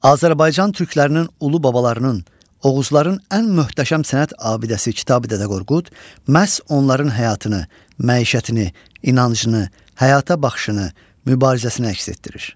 Azərbaycan türklərinin ulu babalarının, oğuzların ən möhtəşəm sənət abidəsi Kitabi Dədə Qorqud məhz onların həyatını, məişətini, inancını, həyata baxışını, mübarizəsini əks etdirir.